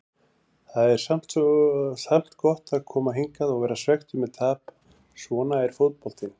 Það er samt gott að koma hingað og vera svekktur með tap, svona er fótboltinn.